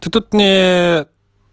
ты тут не